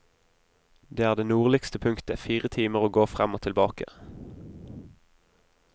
Det er det nordligste punktet, fire timer å gå frem og tilbake.